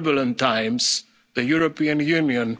turbulent times, the European